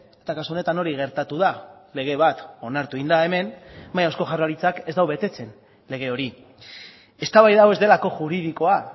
eta kasu honetan hori gertatu da lege bat onartu egin da hemen baina eusko jaurlaritzak ez du betetzen lege hori eztabaida hau ez delako juridikoa